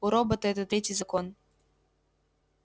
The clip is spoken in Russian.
у робота это третий закон